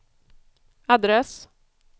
adress